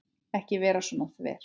Ekki vera svona þver.